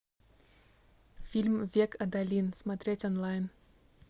фильм век адалин смотреть онлайн